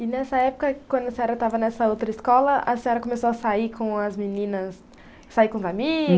E nessa época, quando a senhora estava nessa outra escola, a senhora começou a sair com as meninas, sair com os amigos?